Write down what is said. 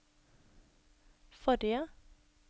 forrige